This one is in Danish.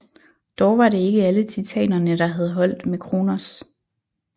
Dog var det ikke alle Titanerne der havde holdt med Kronos